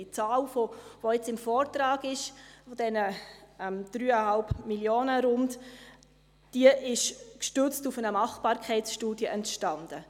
Die Zahl von rund 3,3 Mio. Franken, die jetzt im Vortrag steht, ist gestützt auf eine Machbarkeitsstudie zustande gekommen.